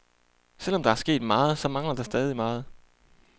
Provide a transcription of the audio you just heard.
Selvom der er sket meget, så mangler der stadig meget.